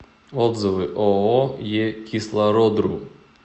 отзывы ооо е кислородру